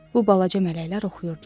Bu balaca mələklər oxuyurdular.